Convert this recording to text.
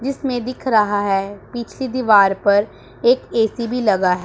जीसमें दिख रहा है पीछे दीवार पर एक ए_सी भी लगा है।